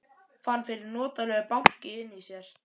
Fann fyrir notalegu banki inni í sér.